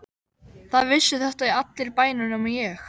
Það vissu þetta allir í bænum nema ég.